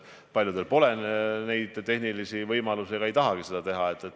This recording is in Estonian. Paljudel pole neid tehnilisi võimalusi ja ei tahetagi seda teha.